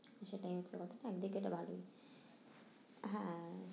সেটাই হচ্ছে কথা, একদিকে এটা ভালোই হ্যাঁ